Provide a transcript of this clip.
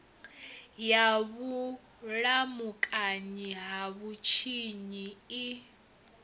ya vhulamukanyi ha vhutshinyi i